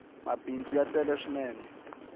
mabindzu ya tele swinene